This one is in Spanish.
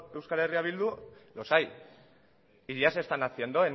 euskal herria bildu los hay y ya se están haciendo